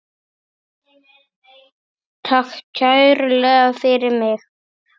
Takk kærlega fyrir mig.